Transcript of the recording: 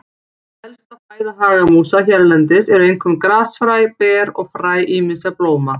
Helsta fæða hagamúsa hérlendis eru einkum grasfræ, ber og fræ ýmissa blóma.